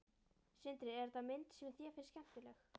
Sindri: Er þetta mynd sem þér finnst skemmtileg?